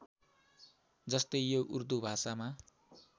जस्तै यो उर्दु भाषामा